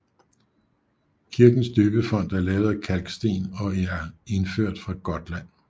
Kirkens døbefont er lavet af kalksten og indført fra Gotland